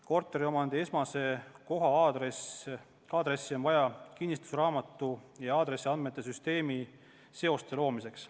Korteriomandi esemekoha-aadressi on vaja kinnistusraamatu ja aadressiandmete süsteemi vahel seoste loomiseks.